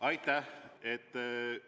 Aitäh!